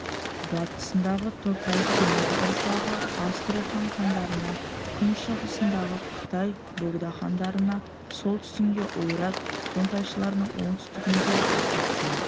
батысындағы тоқай-темір ұрпағы астрахань хандарына күншығысындағы қытай богдахандарына солтүстігіндегі ойрат қонтайшыларына оңтүстігіндегі ақсақ темір